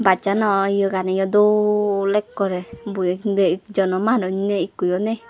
bus chano yoganiyo dol ekkore boi nei ekjono manuj nei ikkoyo nei.